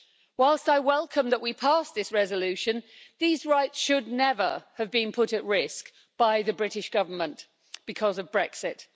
Whilst I welcome that we passed this resolution, these rights should never have been put at risk by the British Government because of Brexit.